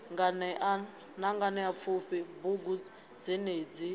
nganea na nganeapfufhi bugu dzenedzi